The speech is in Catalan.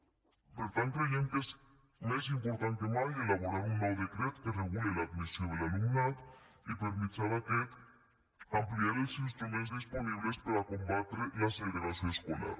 per tant creiem que és més important que mai elaborar un nou decret que regule l’admissió de l’alumnat i per mitjà d’aquest ampliar els instruments disponibles per a combatre la segregació escolar